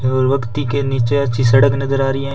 के नीचे अच्छी सड़क नज़र आ रही है।